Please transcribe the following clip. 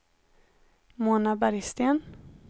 Mona Bergsten